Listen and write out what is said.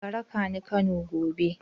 Ka raka ni Kano gobe!